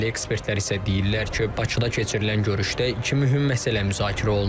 İsrailli ekspertlər isə deyirlər ki, Bakıda keçirilən görüşdə iki mühüm məsələ müzakirə olunub.